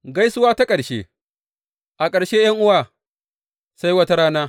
Gaisuwa ta ƙarshe A ƙarshe ’yan’uwa, sai wata rana.